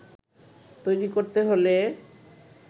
তৈরি করতে হলে